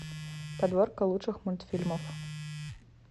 подборка лучших мультфильмов